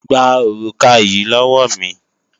Gba òrùka yí lọ́wọ́ mi!